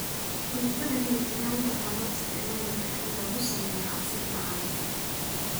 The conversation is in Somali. Fruitada liin dhanaanta waxaa loo isticmaali karaa in lagu sameeyo casiir macaan.